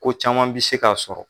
Ko caman bi se k'a sɔrɔ.